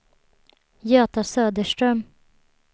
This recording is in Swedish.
Göta Söderström